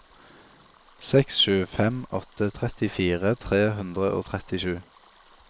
seks sju fem åtte trettifire tre hundre og trettisju